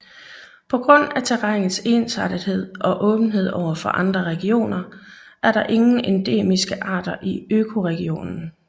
På grund af terrænets ensartethed og åbenhed over for andre regioner er der ingen endemiske arter i økoregionen